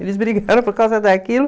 Eles era por causa daquilo.